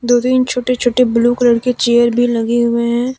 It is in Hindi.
दो तीन छोटे छोटे ब्लू कलर की चेयर भी लगी हुए हैं ।